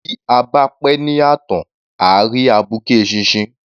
Bí a bá pẹ́ ní ààtàn à á rí abuké eṣinṣin.